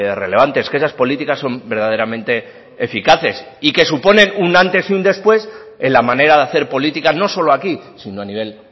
relevantes que esas políticas son verdaderamente eficaces y que suponen un antes y un después en la manera de hacer política no solo aquí sino a nivel